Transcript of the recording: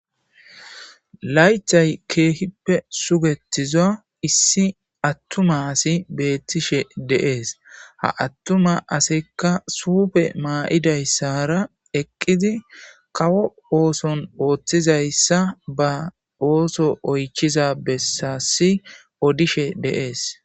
Laythay keehippe sugetiza issi attuma asi beettishe deees ha attuma asekka suufe maa'idayssara eqqidi kawo ooson ooththizayssa ba ooso oychiza bessassi odishe deees.